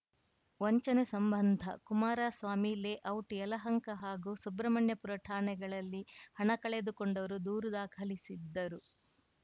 ವಂಚನೆ ಸಂಬಂಧ ಕುಮಾರಸ್ವಾಮಿ ಲೇಔಟ್‌ ಯಲಹಂಕ ಹಾಗೂ ಸುಬ್ರಹ್ಮಣ್ಯಪುರ ಠಾಣೆಗಳಲ್ಲಿ ಹಣ ಕಳೆದುಕೊಂಡವರು ದೂರು ದಾಖಲಿಸಿದ್ದರು